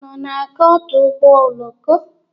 Unu na-aga ọdụ ụgbọ oloko?